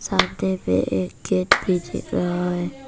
सामने में एक गेट भी दिख रहा है।